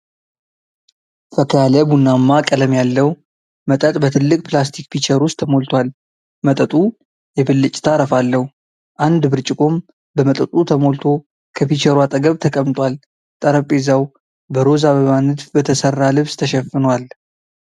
ፈካ ያለ ቡናማ ቀለም ያለው መጠጥ በትልቅ ፕላስቲክ ፒቸር ውስጥ ተሞልቷል። መጠጡ የብልጭታ አረፋ አለው። አንድ ብርጭቆም በመጠጡ ተሞልቶ ከፒቸሩ አጠገብ ተቀምጧል። ጠረጴዛው በሮዝ አበባ ንድፍ በተሠራ ልብስ ተሸፍኗል።